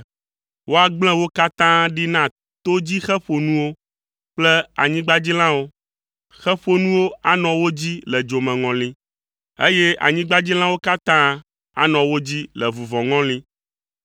Woagblẽ wo katã ɖi na to dzi xe ƒonuwo kple anyigbadzilãwo; xe ƒonuwo anɔ wo dzi le dzomeŋɔli, eye anyigbadzilãwo katã anɔ wo dzi le vuvɔŋɔli.